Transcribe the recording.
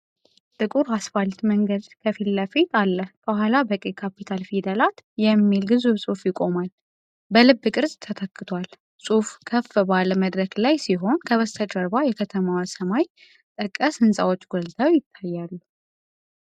ጥቁር አስፋልት መንገድ ከፊት ለፊት አለ፣ ከኋላ በቀይ ካፒታል ፊደላት “ETHIOPIA” የሚል ግዙፍ ጽሑፍ ይቆማል። ‘O’ በልብ ቅርጽ ተተክቷል። ጽሑፉ ከፍ ባለ መድረክ ላይ ሲሆን፣ ከበስተጀርባ የከተማዋ ሰማይ ጠቀስ ሕንፃዎች ጎልተው ይታያሉ።